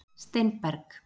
Steinberg